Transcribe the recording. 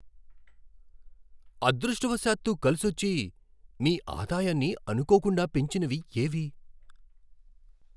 అదృష్టవశాత్తు కలిసొచ్చి మీ ఆదాయాన్ని అనుకోకుండా పెంచినవి ఏవి?